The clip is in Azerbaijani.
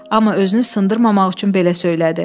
Amma özünü sındırmamaq üçün belə söylədi.